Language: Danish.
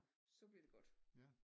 Så bliver det godt